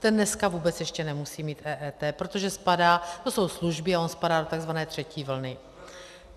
Ten dneska vůbec ještě nemusí mít EET, protože spadá, to jsou služby a on spadá do tzv. třetí vlny.